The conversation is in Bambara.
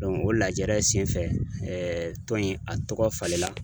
o lajɛrɛ senfɛ tɔn in a tɔgɔ falenna